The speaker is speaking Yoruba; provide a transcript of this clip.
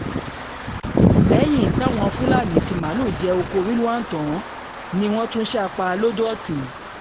lẹ́yìn táwọn fúlàní fi màálùú jẹ ọkọ rilwan tán ni wọ́n tún sá a pa lodò-òtin